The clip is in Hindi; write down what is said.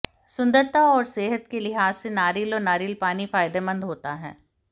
सुंदरता और सेहत के लिहाज से नारियल और नारियल पानी फायदेमंद होता है